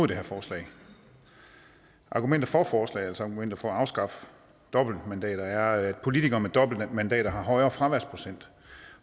det her forslag argumenter for forslaget altså argumenter for at afskaffe dobbeltmandater er at politikere med dobbeltmandater har højere fraværsprocent